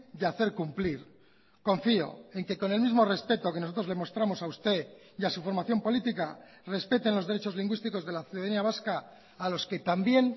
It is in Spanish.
y hacer cumplir confío en que con el mismo respeto que nosotros le mostramos a usted y a su formación política respeten los derechos lingüísticos de la ciudadanía vasca a los que también